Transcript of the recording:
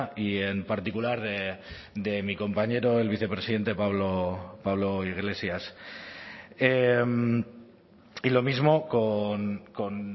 y en particular de mi compañero el vicepresidente pablo iglesias y lo mismo con